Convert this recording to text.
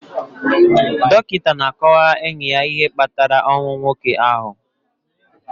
Dọkịta na-akọwara enyi ya ihe kpatara ọnwụ nwoke ahụ